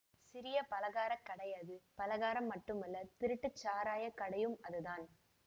சிறிய பலகாரக் கடை அது பலகாரம் மட்டுமல்ல திருட்டுச் சாராய கடையும் அதுதான்